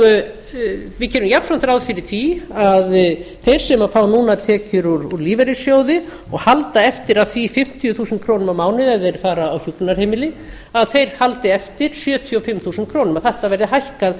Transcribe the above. og við gerum jafnframt ráð fyrir því að þeir sem fá núna tekjur úr lífeyrissjóði og halda eftir því fimmtíu þúsund krónur á mánuði ef þeir fara á hjúkrunarheimili haldi þeir eftir sjötíu og fimm þúsund krónur